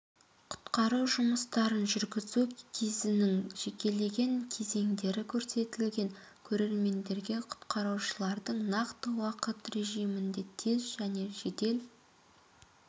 құтқару жұмыстарын жүргізу кезінің жекелеген кезеңдері көрсетілген көрермендерге құтқарушылардың нақты уақыт режимінде тез және жедел